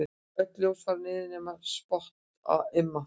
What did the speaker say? Öll ljós fara niður nema spott á Imma.